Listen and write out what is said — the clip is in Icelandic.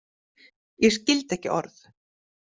Ég skildi ekki orð.